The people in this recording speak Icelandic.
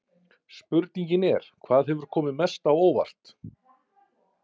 Spurningin er: Hvað hefur komið mest á óvart?